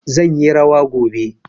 Zan yi rawa gobe.